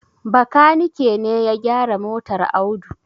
Bakanike ne ya gyara motar Audu.